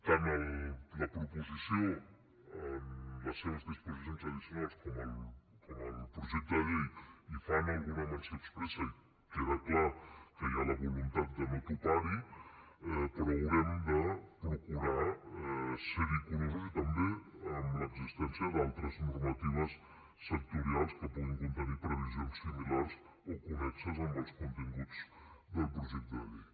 tant la proposició en les seves disposicions addicionals com el projecte de llei hi fan alguna menció expressa i queda clar que hi ha la voluntat de no topar hi però haurem de procurar ser hi curosos i també amb l’existència d’altres normatives sectorials que puguin contenir previsions similars o connexes amb els continguts del projecte de llei